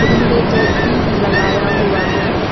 उन्होंने टोपी भी लगाया हुआ है।